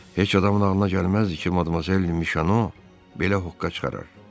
Heç adamın ağılına gəlməzdi ki, Madmazel Mişano belə hoqqa çıxarar.